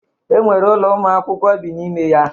E nwere ụlọ ụmụ akwụkwọ bi n'ime ya.